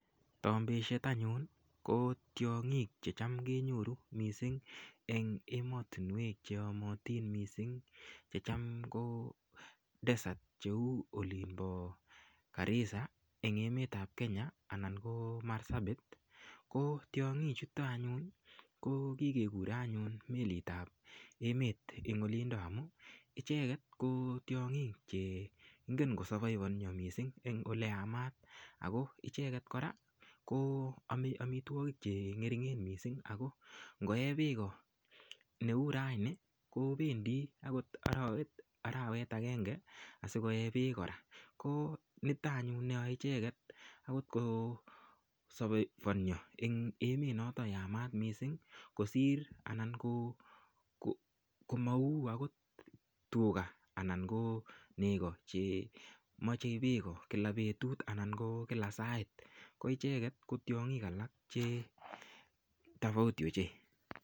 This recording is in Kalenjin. Tombishet anyun i ko tiang'ik che cham kenyoru missing' eng' ematunwek che yamatin missing' che cham ko desert kou olin pa Garissa en emet ap Kenyaa anan ko Marsabit. Ko tiang'ichuto anyun ko kikekure anyun melit ap emet en olindo amu icheket ko tiang'ik che ingen ko savaivania missing' eng' ole yamat. Ako icheget kora ko ame amitwogik che ng'ering' missing'. Ngoe peko ne u raini kopendi akot arawet agenge asikoee peek kora. Kp nitan anyun ne yae icheget agok kosavaivania agot en emet notok yamat missing' kosir anan ko mau agot tuga anan ko nego che mache peko kila petut anan kila sait. Ko icheget ko tiang'ik alak che tofauti ochei.